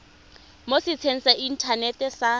mo setsheng sa inthanete sa